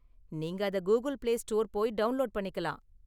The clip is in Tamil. நீங்க அத கூகில் பிளே ஸ்டோர் போய் டவுண்லோடு பண்ணிக்கலாம்.